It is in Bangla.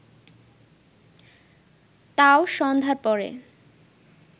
তাও সন্ধ্যার পরে